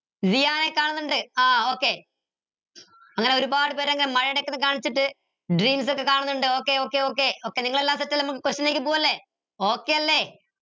ദിയാനെ കാണുന്നുണ്ട ആഹ് okay അങ്ങനെ ഒരുപാട് പേര് അങ്ങനെ കാണിച്ചിട്ട് ഒക്കെ കാണുന്നിണ്ട് okay okay okay നിങ്ങളെല്ലാരും set അല്ലെ നമുക്ക് question ലേക്ക് പോവല്ലേ okay അല്ലെ